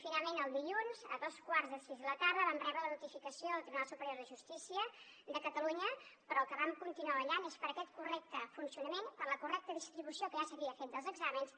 finalment el dilluns a dos quarts de sis de la tarda vam rebre la notificació del tribunal superior de justícia de catalunya però pel que vam continuar vetllant és per aquest correcte funcionament per la correcta distribució que ja s’havia fet dels exàmens